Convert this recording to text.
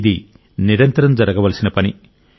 ఇది నిరంతరం జరగవలసిన పని